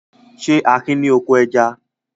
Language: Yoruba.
Ṣé Akin ní oko ẹja?